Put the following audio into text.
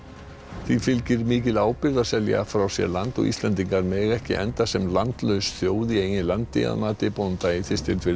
því fylgir mikil ábyrgð að selja frá sér land og Íslendingar mega ekki enda sem landlaus þjóð í eigin landi að mati bónda í Þistilfirði